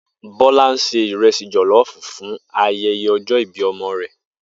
Bó̩lá se ìre̩sì jò̩ló̩ò̩fù fún aye̩ye̩ o̩jó̩ ìbí o̩mo̩ rè̩